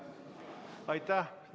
Aitäh!